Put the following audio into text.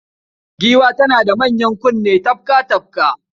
Giwa tana da manyan kunne tafka-tafka